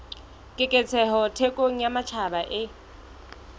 keketseho thekong ya matjhaba e